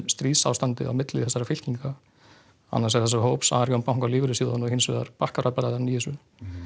stríðsástand á milli þessara fylkinga annars vegar þessa hóps Arionssjóðs og lífeyrissjóðanna og hins vegar Bakkvarabræðranna í þessu